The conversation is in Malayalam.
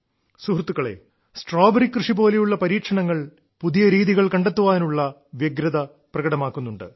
സുഹൃത്തുക്കളേ സ്ട്രോബെറി കൃഷി പോലെയുള്ള പരീക്ഷണങ്ങൾ പുതിയ രീതികൾ കണ്ടെത്താനുള്ള വ്യഗ്രത പ്രകടമാക്കുന്നുണ്ട്